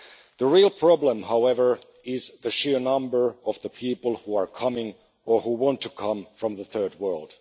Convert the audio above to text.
The real problem however, is the sheer number of people who are coming, or who want to come, from the third world.